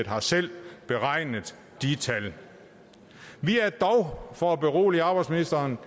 har selv beregnet de tal for at berolige arbejdsministeren